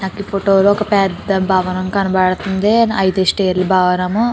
నాకు ఫోటో లో ఒక పెద్ద భవనం కనపడుతుంది. ఐదు స్టేర్ ల భవనము.